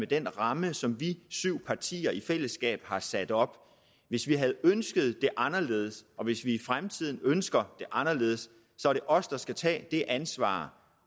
den ramme som vi syv partier i fællesskab har sat op hvis vi havde ønsket det anderledes og hvis vi i fremtiden ønsker det anderledes så er det os der skal tage det ansvar